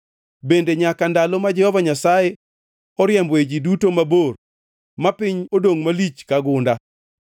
bende nyaka ndalo ma Jehova Nyasaye oriemboe ji duto mabor ma piny odongʼ malich ka gunda.